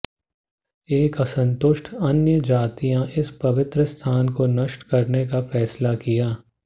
एक असंतुष्ट अन्यजातियों इस पवित्र स्थान को नष्ट करने का फैसला किया